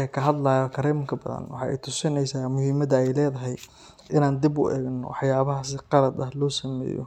uu ka hadlayo Kareemka Badhan waxay i tusinaysaa muhiimadda ay leedahay in aan dib u eegno waxyaabaha si qalad ah loo sameeyo